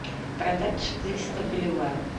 продать четыреста боливаров